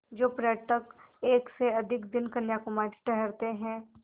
जो पर्यटक एक से अधिक दिन कन्याकुमारी ठहरते हैं